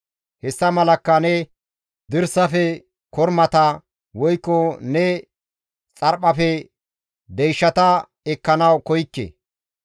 Hessa malakka ne dirsafe kormata, woykko ne xarphphafe deyshata ekkanawu koykke.